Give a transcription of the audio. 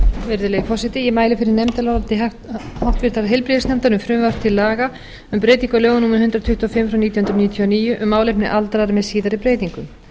virðulegi forseti ég mæli fyrir nefndaráliti háttvirtur heilbrigðisnefndar um frumvarp til laga um breytingu á lögum númer hundrað tuttugu og fimm nítján hundruð níutíu og níu um málefni aldraðra með síðari breytingum